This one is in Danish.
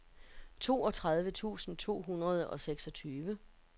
toogtredive tusind to hundrede og seksogtyve